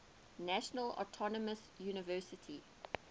national autonomous university